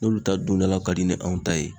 N'olu ta don dala ka di ni anw ta ye